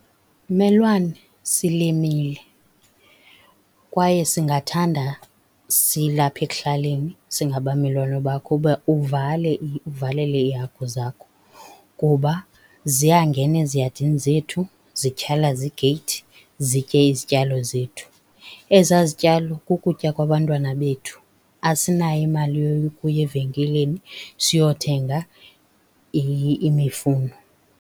Mmelwane, silimile kwaye singathanda silapha ekuhlaleni singabamelwane bakho uba uvale uvalele iihagu zakho kuba ziyangena eziyadini zethu, zityhalaze igeyithi, zitye izityalo zethu. Ezaa zityalo kukutya kwabantwana bethu. Asinayo imali yokuya evenkileni siyokuthenga imifuno.